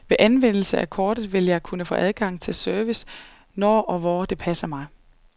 Ved anvendelse af kortet vil jeg kunne få adgang til service når og hvor det passer mig.